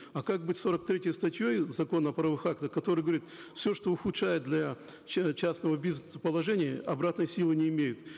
а как быть с сорок третьей статьей закона о правовых актах который говорит все что ухудшает для частного бизнеса положение обратной силы не имеет